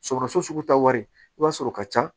Sɔgɔsɔgɔ sugu ta wari i b'a sɔrɔ o ka ca